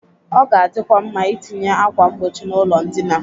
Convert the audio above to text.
Ọ ga-adịkwa nma etinye akwa mgbochi n'ụlọ ndịna.